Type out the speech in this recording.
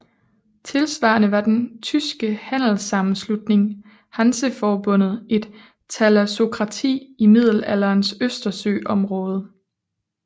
Tilsvarende var den tyske handelssammenslutning Hanseforbundet et thalassokrati i Middelalderens østersøområde